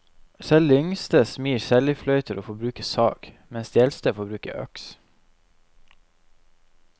Selv de yngste smir seljefløyter og får bruke sag, mens de eldste får bruke øks.